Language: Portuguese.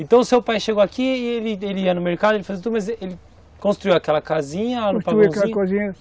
Então seu pai chegou aqui, ele ele ia no mercado, ele fazia tudo, mas ele construiu aquela casinha